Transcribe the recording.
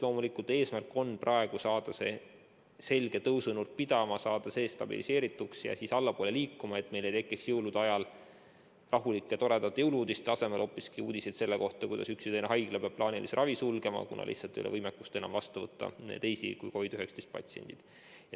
Loomulikult on eesmärk saada see selge tõusunurk pidama, saada see stabiilseks ja siis allapoole liikuma, et meil ei tekiks jõulude ajal rahulike ja toredate jõulu‑uudiste asemel hoopiski uudiseid selle kohta, kuidas üks või teine haigla peab plaanilise ravi sulgema, kuna lihtsalt ei ole enam võimekust vastu võtta teisi kui COVID-19 patsiente.